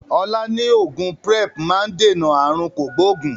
Ọlá ni oògùn Prep máa ń dènà aàrùn kògbógùn